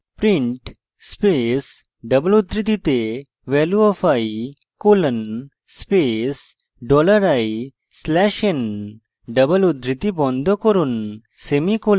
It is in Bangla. print space double উদ্ধৃতিতে value of i colon space dollar i slash n double উদ্ধৃতি বন্ধ করুন semicolon